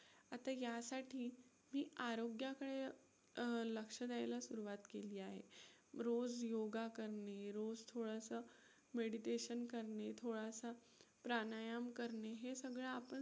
आता यासाठी मी आरोग्याकडे अं लक्ष द्यायला सुरवात केली आहे. रोज योगा करणे, रोज थोडंसं meditation करणे, थोडासा प्राणायाम करणे हे सगळं आपण